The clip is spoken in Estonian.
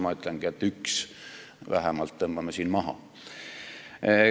Tegelikult ma väidangi, et üks, sõna "vähemalt" tõmbame maha.